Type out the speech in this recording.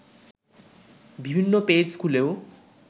বিভিন্ন পেজ খুলেও